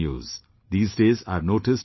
These days I have noticed that some T